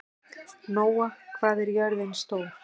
Nóa, hvað er jörðin stór?